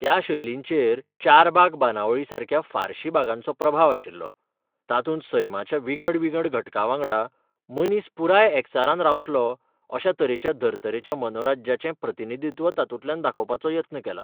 त्या शैलींचेर चारबाग बांदावळीसारक्या फारशी बागांचो प्रभाव आशिल्लो, तातूंत सैमाच्या विंगड विंगड घटकांवांगडा मनीस पुराय एकचारान रावतलो अश्या तरेच्या धर्तरेच्या मनोराज्याचें प्रतिनिधित्व तातूंतल्यान दाखोवपाचो यत्न केला.